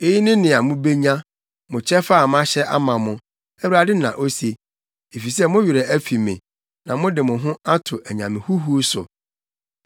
Eyi ne nea mubenya, mo kyɛfa a mahyɛ ama mo,” Awurade na ose, “efisɛ mo werɛ afi me na mode mo ho ato anyame huhuw so.